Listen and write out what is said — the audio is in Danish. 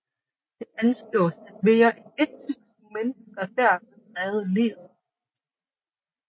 Det anslås at mere end et tusind mennesker derved redede livet